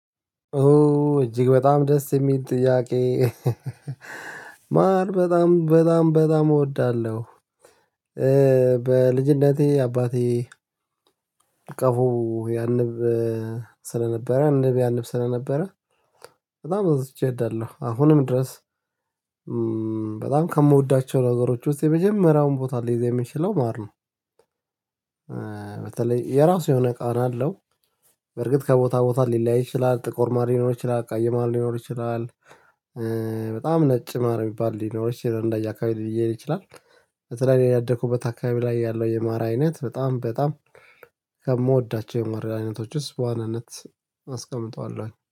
ኦ እጅግ በጣም ደስ የሚል ጥያቄ ማር በጣም በጣም በጣም እወዳለሁ። በልጅነቴ አባቴ ቀፎ ያንብ ስለነበረ ንብ ያንብ ስለነበረ። በጣም አብዝቼ እወዳለሁ አሁንም ድረስ በጣም ከምወዳቸው ነገሮች ውስጥ የመጀመሪያውን ቦታ ሊይዝ የሚችለው ማር ነው። በተለይ የራሱ የሆነ ቃና አለው። በርግጥ ከቦታ ቦታ ሊለያይ ይችላል ጥቁር ማር ሊኖር ይችላል ቀይ ማር ሊኖር ይችላል። በጣም ነጭ ማር የሚባል ሊኖር ይችላል እንደየአካባቢ ሊየያይ ይችላል። በተለይ ያደኩበት አካባቢ ላይ ያለው የማር አይነት በጣም በጣም ከምወዳቸው የማር አይነቶች ውስጥ በዋናነት አስቀምጠዋለሁኝ